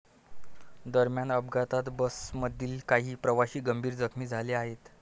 दरम्यान अपघातात बसमधील काही प्रवासी गंभीर जखमी झाले आहेत.